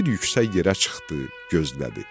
Bir yüksək yerə çıxdı, gözlədi.